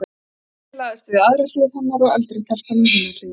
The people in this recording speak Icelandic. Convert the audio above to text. Týri lagðist við aðra hlið hennar og eldri telpan við hina hliðina.